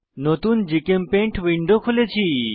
নতুন GChemPaint window খুলেছি